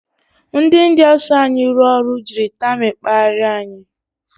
Ndị India so anyị rụọ ọrụ jiri tamịl kparia anyị.